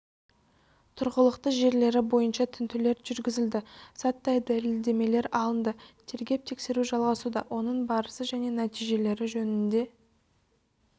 тұрғылықты жерлері бойынша тінтулер жүргізілді заттай дәлелдемелер алынды тергеп-тексеру жалғасуда оның барысы және нәтижелері жөнінде